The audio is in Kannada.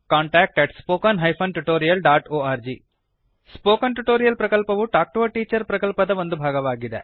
contact at spoken hyphen tutorial dot org contactspoken tutorialorg spoken tutorial ಪ್ರಕಲ್ಪವು ಟಾಕ್ ಟು ಎ ಟೀಚರ್ ಪ್ರಕಲ್ಪದ ಒಂದು ಭಾಗವಾಗಿದೆ